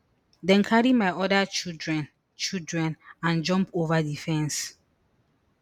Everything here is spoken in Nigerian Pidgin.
dem carry my oda children children and jump over di fence